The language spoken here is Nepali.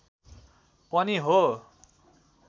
पनि हो